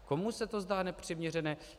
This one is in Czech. Komu se to zdá nepřiměřené.